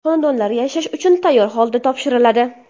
Xonadonlar yashash uchun tayyor holda topshiriladi.